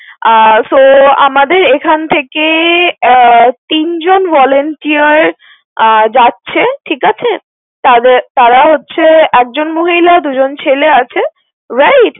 আহ So আমাদের এখান থেকে আহ তিনজন volunteer আহ যাচ্ছে। ঠিক আছে? তাদের~ তাঁরা হচ্ছে একজন মহিলা, দু জন ছেলে আছে। Right?